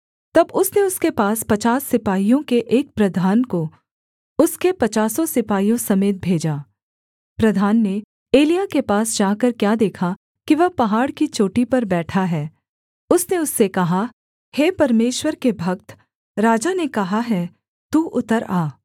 तब उसने उसके पास पचास सिपाहियों के एक प्रधान को उसके पचासों सिपाहियों समेत भेजा प्रधान ने एलिय्याह के पास जाकर क्या देखा कि वह पहाड़ की चोटी पर बैठा है उसने उससे कहा हे परमेश्वर के भक्त राजा ने कहा है तू उतर आ